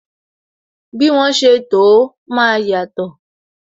Bí wọn ṣe to ó, máa yàtò